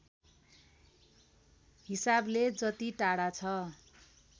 हिसाबले जति टाढा छ